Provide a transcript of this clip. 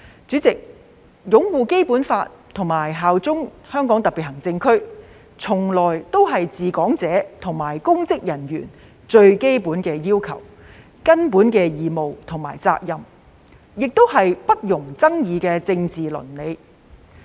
主席，擁護《基本法》及效忠香港特別行政區，從來都是治港者及公職人員的最基本要求、根本義務和責任，也是不容爭議的政治倫理。